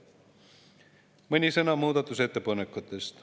Mõni sõna muudatusettepanekutest.